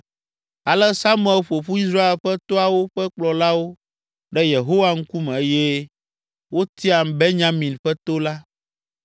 Ale Samuel ƒo ƒu Israel ƒe toawo ƒe kplɔlawo ɖe Yehowa ŋkume eye wotia Benyamin ƒe to la.